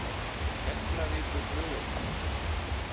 Keflavíkurflugvelli